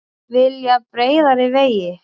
Vilja breiðari vegi